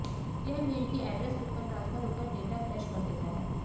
यह मेल की address book में ट्रांसफर होकर डेटा क्रैश कर देता है